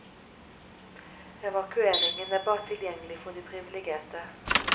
Evakueringen er bare tilgjengelig for de priviligerte.